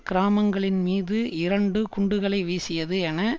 கிராமங்களின் மீது இரண்டு குண்டுகளை வீசியது என